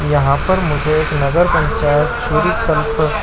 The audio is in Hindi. यहाँ पर मुझे एक नगर पंचायत छुरी कल्प--